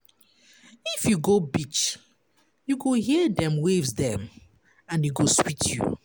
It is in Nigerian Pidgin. If you go beach, you go hear dem waves dem and e go sweet you.